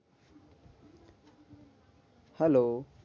Hello